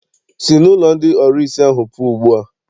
Sị n'ụlọ ndị ọrụsị ahụ pụọ ugbu a!